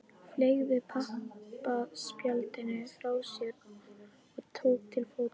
Fleygði pappaspjaldinu frá sér og tók til fótanna.